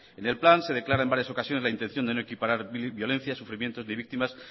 en el plan se declara en varias ocasiones la intención de no equiparar violencia sufrimientos de víctimas